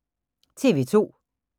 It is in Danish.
TV 2